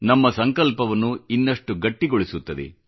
ನಮ್ಮ ಸಂಕಲ್ಪವನ್ನು ಇನ್ನಷ್ಟು ಗಟ್ಟಿಗೊಳಿಸುತ್ತದೆ